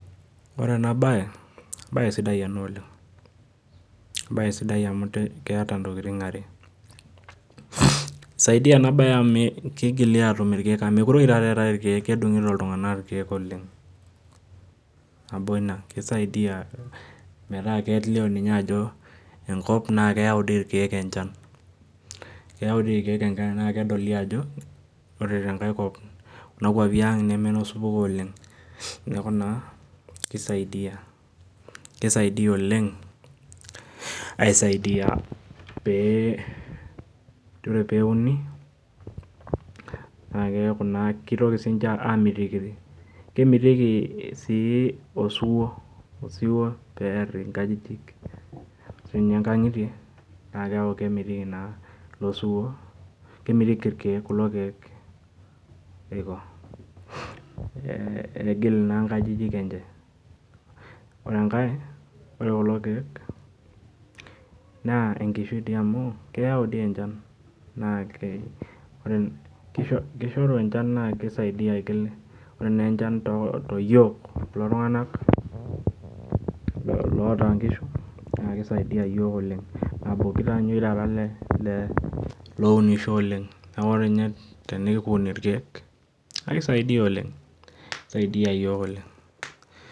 Ore baye embaye sidai ena oleng' embaye sidai amu keeta ntokitin are. Isaidia ena baye amu kigili aatum irkeek amu mekure oshi taata eetai irkeek kedung'ito iltung'anak irkeek oleng' ,nabo ina kisaidia metaa kelio ninye ajo enkop naake eyau dii irkeek enchan, eyau dii irkeek enchan naake edoli ajo kore te nkae kop kuna kuapi aang' neme no supuko oleng' . Neeku naa ki saidia oleng' aisaidia pee kore peeuni naake eyaku naa kitoki siinje aamikiri. Kemiteki sii osiwuo peer nkajijik siinye nkang'itie naake eeku kemiriri naa ilo siwuo, kemiriri irkeek kulo keek pii iko peegil naa nkajijik enje. Ore enkae ore kulo keek naar enkishui dii amu keyau dii enchan naake kisho kishoru enchan naa kisaidia aigil. Ore naa enchan too yiok kulo tung'anak loota nkishu naa ki saidia iyiok oleng'. Neeku olale le lounisho oleng' neeku nye tenikuni irkeek naa ki saidia oleng' ki saidia iyiok oleng'.